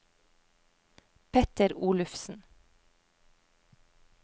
Petter Olufsen